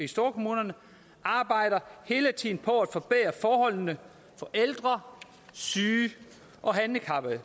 storkommuner arbejder hele tiden på at forbedre forholdene for ældre syge og handicappede